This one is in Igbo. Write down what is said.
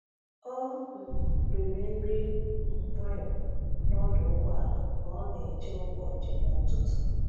Ọ um riri nri um nwayọ n’ọdụ ụgbọala ka ọ na-eche ụgbọ njem ụtụtụ.